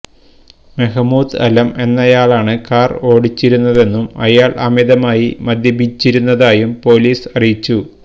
Mahmoud Alam എന്നയാളാണ് car ഓടിച്ചിരുന്നതെന്നും ഇയാൾ അമിതമായി മദ്യപിച്ചിരുന്നതായും പോലീസ് അറിയിച്ചു